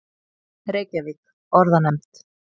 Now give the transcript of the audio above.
Reykjavík: Orðanefnd.